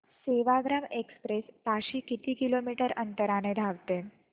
Sevagram express ताशी किती kilometre अंतराने धावते